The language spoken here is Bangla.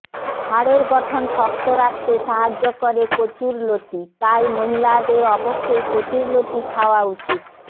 হাড়ের গঠন শক্ত রাখতে সাহায্য করে কচুর লতি তাই মহিলাদের অবশ্যই কচুর লতি খাওয়া উচিত